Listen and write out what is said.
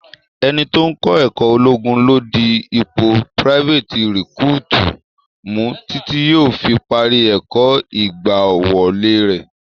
Ẹni tó ń kọ ẹ̀kó ológun ló di ipò private recruit mu títí yóò fi parí ẹ̀kọ́ ìgbàwọlé rẹ.